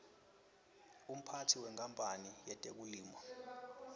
umphatsi wenkapanl yetekulima